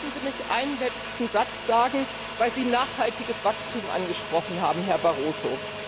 Lassen Sie mich einen letzten Satz sagen, weil Sie nachhaltiges Wachstum angesprochen haben, Herr Barroso.